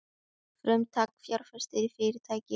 Frumtak fjárfestir í fyrirtæki